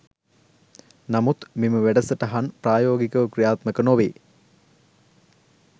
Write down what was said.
නමුත් මෙම වැඩසටහන් ප්‍රායෝගිකව ක්‍රියාත්මක නොවේ.